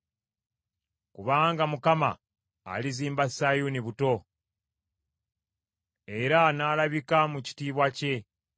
Kubanga Mukama alizimba Sayuuni buto, era n’alabika mu kitiibwa kye.